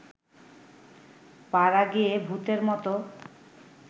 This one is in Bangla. পাড়াগেঁয়ে ভূতের মত